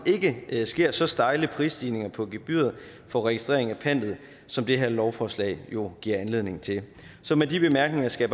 ikke sker så stejle prisstigninger på gebyret for registrering af pantet som det her lovforslag jo giver anledning til så med de bemærkninger skal